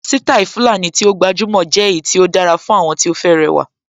Sítáì Fulani tí ó gbajúmọ̀ jẹ́ èyí tí ó dára fún àwọn tí ó fẹ́ rẹwà